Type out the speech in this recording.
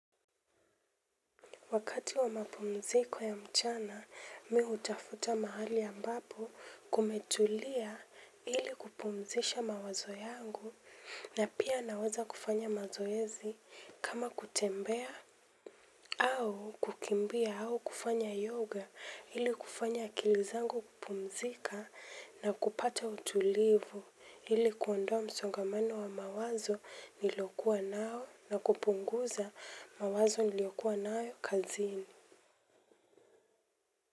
Wakati wa mapumziko ya mchana, mi hutafuta mahali ambapo kumetulia ili kupumzisha mawazo yangu na pia naweza kufanya mazoezi kama kutembea au kukimbia au kufanya yoga ili kufanya akilizangu kupumzika na kupata utulivu. Ili kuondoa msongomano wa mawazo nilokuwa nao na kupunguza mawazo niliyokua nayo kazini.